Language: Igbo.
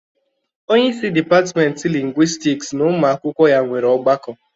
Onyeisi dịpatịmentị lingwistiks na ụmụ akwụkwọ ya nwere ọgbakọ.